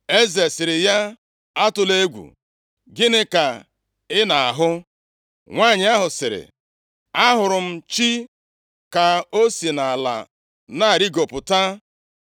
Eze sịrị ya, “Atụla egwu! Gịnị ka ị na-ahụ?” Nwanyị ahụ sịrị, “A hụrụ m chi + 28:13 Maọbụ, mmụọ ka o si nʼala na-arịgopụta.”